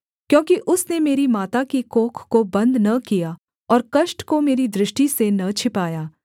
क्योंकि उसने मेरी माता की कोख को बन्द न किया और कष्ट को मेरी दृष्टि से न छिपाया